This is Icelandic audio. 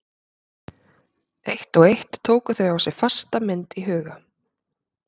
Eitt og eitt tóku þau á sig fasta mynd í huga